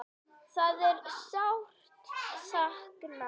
Það er sárt sakna.